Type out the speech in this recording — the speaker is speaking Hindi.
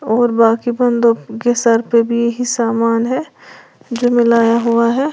और बाकी बंदों के सर पे भी समान है जो मिलाया हुआ है।